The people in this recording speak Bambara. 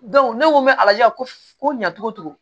ne ko n bɛ ala ko ɲa cogo cogo